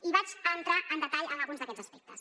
i entro en detall en alguns d’aquests aspectes